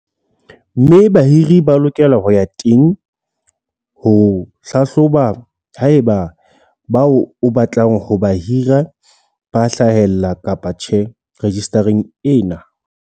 Mme bahiri ba lokela ho ya teng ho hlahloba haeba bao o batlang ho ba hira ba hlahella kapa tjhe rejistareng ena.